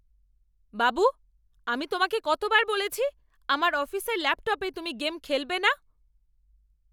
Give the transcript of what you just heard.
বাবু, আমি তোমাকে কতবার বলেছি, আমার অফিসের ল্যাপটপে তুমি গেম খেলবে না?